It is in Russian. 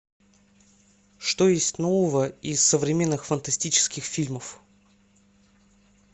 что есть нового из современных фантастических фильмов